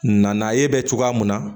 Na ye bɛ cogoya mun na